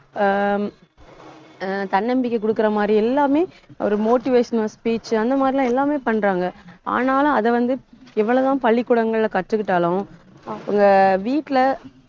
ஆஹ் அஹ் தன்னம்பிக்கை கொடுக்கிற மாதிரி எல்லாமே ஒரு motivational speech அந்த மாதிரி எல்லாம், எல்லாமே பண்றாங்க. ஆனாலும் அதை வந்து, எவ்வளவுதான் பள்ளிக்கூடங்கள்ல கத்துக்கிட்டாலும் அவங்க வீட்டுல